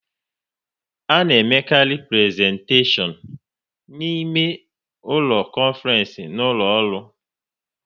A na emekarị prezentashion na ime ụlọ konfrence n'ụlọ ọrụ